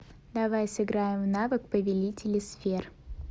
давай сыграем в навык повелители сфер